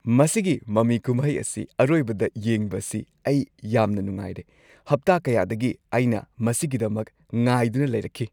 ꯃꯁꯤꯒꯤ ꯃꯃꯤ ꯀꯨꯝꯍꯩ ꯑꯁꯤ ꯑꯔꯣꯏꯕꯗ ꯌꯦꯡꯕꯁꯤ ꯑꯩ ꯌꯥꯝꯅ ꯅꯨꯡꯉꯥꯏꯔꯦ! ꯍꯞꯇꯥ ꯀꯌꯥꯗꯒꯤ ꯑꯩꯅ ꯃꯁꯤꯒꯤꯗꯃꯛ ꯉꯥꯏꯗꯨꯅ ꯂꯩꯔꯛꯈꯤ꯫